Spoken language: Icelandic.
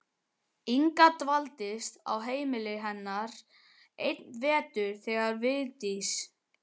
Inga dvaldist á heimili hennar einn vetur þegar Vigdís